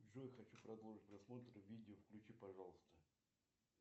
джой хочу продолжить просмотр видео включи пожалуйста